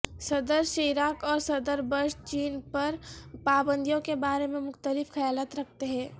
صدر شیراک اور صدر بش چین پر پابندیوں کے بارے میں مختلف خیالات رکھتے ہیں